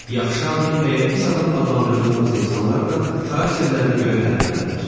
Yaxşı adam və ya pis adam adlandırdığımız insanlar da xarakterlərinə görə fərqlənirlər.